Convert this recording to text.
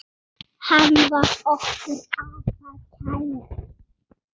Hann var okkur afar kær.